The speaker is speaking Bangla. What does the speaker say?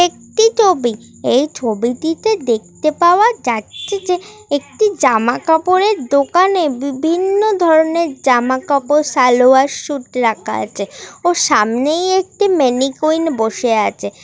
একটি ছবি এই ছবিটিতে দেখতে পাওয়া যাচ্ছে এবং যে একটি জামা কাপড়ের দোকানে বিভিন্ন ধরনের জামা কাপড় সালোয়ার সুট রাখা আছে ও সামনেই একটি ম্যানিকুইন বসে আছে।